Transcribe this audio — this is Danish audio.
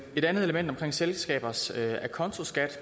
et andet element er selskabers acontoskat